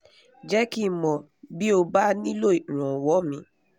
jẹ́ kí n mọ̀ bí o bá nílò ìranwọ́ míì